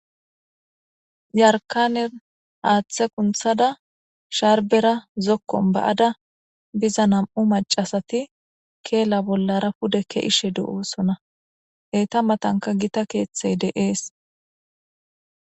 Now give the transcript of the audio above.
Yarkanin athe kunthada sharbera zokkon ba'ada biza na'mu macasati keela bollara pudeke ishe de'osona eyta matanka gita keethey dees